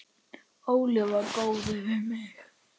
Óli var góður við mig.